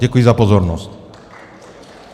Děkuji za pozornost.